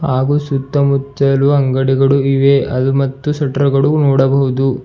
ಹಾಗು ಸುತ್ತಮುತ್ತಲೂ ಅಂಗಡಿಗಳು ಇವೆ ಅದು ಮತ್ತು ಶಟ್ರ ಗಳು ನೋಡಬಹುದು.